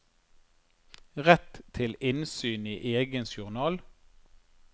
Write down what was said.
Rett til innsyn i egen journal.